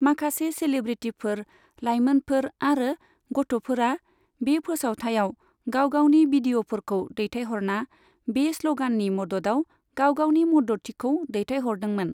माखासे सेलिब्रिटिफोर, लाइमोनफोर आरो गथ'फोरा बे फोसावथायाव गावगावनि बिदिअफोरखौ दैथायहरना बे स्लगाननि मददाव गाव गावनि मददथिखौ दैथायहरदोंमोन।